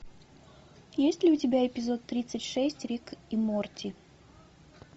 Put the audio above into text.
есть ли у тебя эпизод тридцать шесть рик и морти